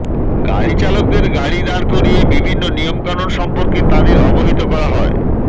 গাড়িচালকদের গাড়ি দাঁড় করিয়ে বিভিন্ন নিয়মকানুন সম্পর্কে তাঁদের অবহিত করা হয়